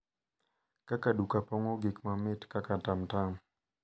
Kaka duka pong’o gik mamit kaka tamtam